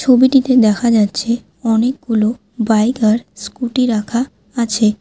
ছবিটিতে দেখা যাচ্ছে অনেকগুলো বাইক আর স্কুটি রাখা আছে।